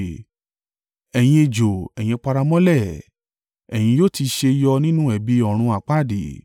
“Ẹ̀yin ejò! Ẹ̀yin paramọ́lẹ̀! Ẹ̀yin yóò ti ṣe yọ nínú ẹ̀bi ọ̀run àpáàdì?